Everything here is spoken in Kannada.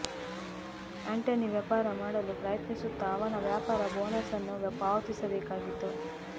ಆಂಟನಿ ವ್ಯಾಪಾರ ಮಾಡಲು ಪ್ರಯತ್ನಿಸುತ್ತಾ ಅವನ ವ್ಯಾಪಾರ ಬೋನಸ್ ಅನ್ನು ಪಾವತಿಸಬೇಕಾಗಿತ್ತು